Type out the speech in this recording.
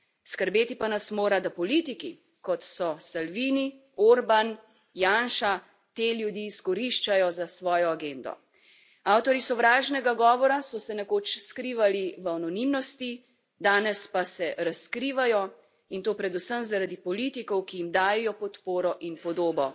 Skrbeti pa nas mora, da politiki, kot so Salvini, Orban, Janša, te ljudi izkoriščajo za svojo agendo. Avtorji sovražnega govora so se nekoč skrivali v anonimnosti, danes pa se razkrivajo in to predvsem zaradi politikov, ki jim dajejo podporo in podobo.